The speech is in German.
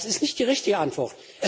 Das ist nicht die richtige Antwort.